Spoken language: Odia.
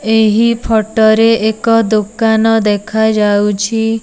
ଏହି ଫୋଟୋ ରେ ଏକ ଦୋକାନ ଦେଖାଯାଉଛି।